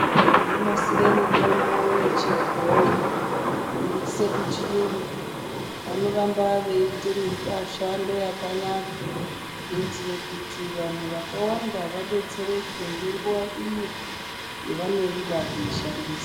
Vanonasire mitombo yechibhoyi kuiise kuchiyungu vanoramba veiite mishando yakanaka. Kuitire kuti vanhu vakawanda vadetsereke ngenguva iyo yevanoida kuishandisa.